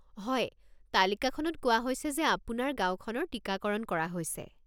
হয়, তালিকাখনত কোৱা হৈছে যে আপোনাৰ গাঁওখনৰ টিকাকৰণ কৰা হৈছে।